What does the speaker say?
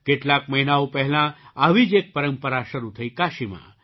કેટલાક મહિનાઓ પહેલાં આવી જ એક પરંપરા શરૂ થઈ કાશીમાં